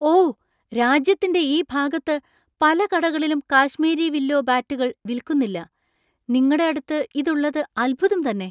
ഓ! രാജ്യത്തിന്‍റെ ഈ ഭാഗത്ത് പല കടകളിലും കാശ്മീരി വില്ലോ ബാറ്റുകൾ വിൽക്കുന്നില്ല. നിങ്ങടെ അടുത്ത് ഇതുള്ളത് അത്ഭുതം തന്നെ .